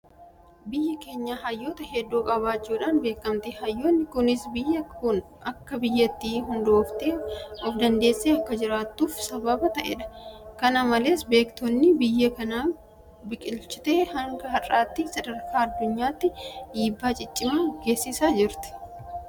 Biyyi keenya hayyoota hedduu qabaachuudhaan beekamti. Hayyoonni kunis biyyi kun akka biyyaatti hundooftee ofdandeessee akka jiraattuuf sababa ta'eera. Kana malees beektonni biyyi kun biqilchite hanga har'aatti sadarkaa addunyaatti dhiibbaa ciccimaa geessisaa jiru.